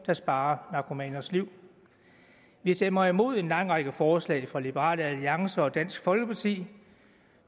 der sparer narkomaners liv vi stemmer imod en lang række forslag fra liberal alliance og dansk folkeparti